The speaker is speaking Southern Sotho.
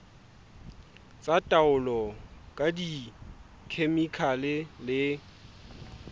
tsa taolo ka dikhemikhale le